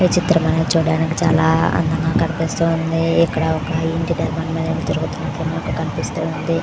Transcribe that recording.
ఈ చిత్రం చూడడానికి చాలా అందంగా కనిపిస్తూ ఉంది. ఇక్కడ ఒక ఇంటి నిర్మాణం జరుగుతున్నట్లు మనకు కనిపిస్తూ ఉంది.